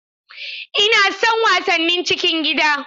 Ina son wasannin cikin gida